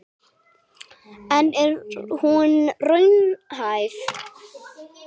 En er hún raunhæf?